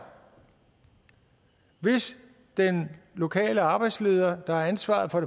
hvis den lokale arbejdsleder der har ansvaret for